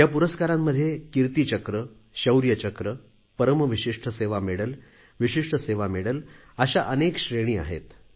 या पुरस्कारांमध्ये Kirti Chakra Shaurya Chakra Param Vishisht Seva medal Vishisht Seva medal अशा अनेक श्रेणी आहेत